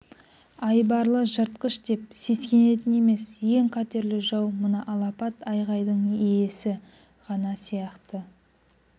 айбарлы жыртқыш деп сескенетін емес ең қатерлі жау мына алапат айғайдың иесі ғана сияқты